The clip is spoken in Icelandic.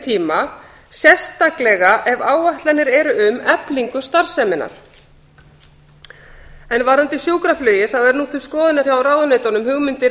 tíma litið sérstaklega ef áætlanir eru um eflingu starfseminnar varðandi sjúkraflugið eru nú til skoðunar hjá ráðuneytunum hugmyndir